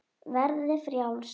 Verði frjáls.